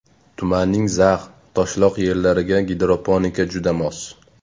Tumanning zax, toshloq yerlariga gidroponika juda mos.